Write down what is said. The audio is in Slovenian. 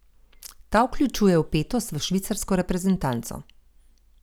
Ta vključuje vpetost v švicarsko reprezentanco.